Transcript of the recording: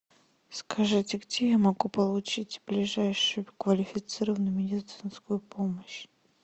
скажите где я могу получить ближайшую квалифицированную медицинскую помощь